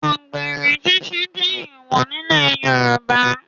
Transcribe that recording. Àgbèrè ṣiṣẹ́ jẹ́ èwọ̀ nílẹ̀ Yorùbá